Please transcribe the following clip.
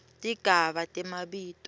tigaba temabito